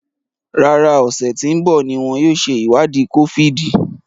Rárá, ọsẹ tí ń bọ̀ ní wọn yóò ṣe ìwádìí kófíìdì